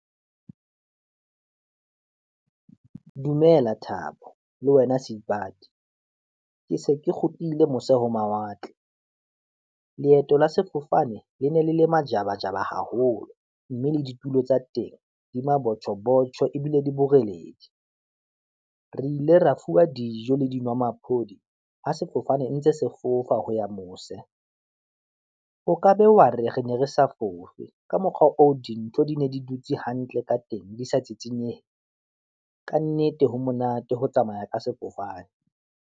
Dumela Thabo le wena Seipati, ke se ke kgutlile mose ho mawatle, leeto la sefofane le ne le le majabajaba haholo, mme le ditulo tsa teng di mabotjho botjho ebile di boreledi, re ile ra fuwa dijo le dinwamaphodi ha sefofane ntse se fofa ho ya mose. O ka be wa re ne re sa fofe ka mokgwa oo dintho di ne di dutse hantle ka teng, di sa tsitsinyeha, kannete ho monate ho tsamaya ka sefofane.